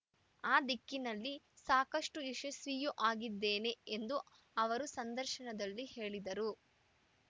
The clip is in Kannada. ಅ ದಿಕ್ಕಿನಲ್ಲಿ ಸಾಕಷ್ಟು ಯಶಸ್ವಿಯೂ ಆಗಿದ್ದೇನೆ ಎಂದು ಅವರು ಸಂದರ್ಶನದಲ್ಲಿ ಹೇಳಿದರು